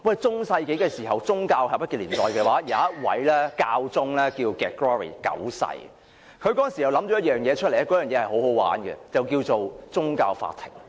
中世紀是政教合一的年代，有一位教宗名為國瑞九世，他當時想出了一件相當有趣的玩意來，那便是宗教法庭。